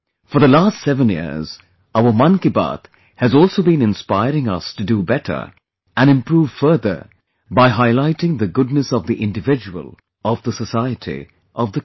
For the last seven years, our 'Mann Ki Baat' has also been inspiring us to do better and improve further, by highlighting the goodness of the individual, of the society, of the country